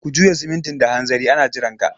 Ka juya simintin da hanzari ana jiranka!